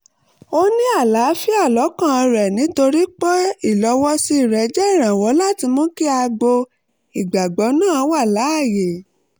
ó ní àlààfíà lọ́kàn rẹ̀ nítorí pé ìlọ̀wọ́sí rẹ̀ jẹ́ ìrànwọ́ láti mú kí agbo ìgbàgbọ́ náà wà láàyè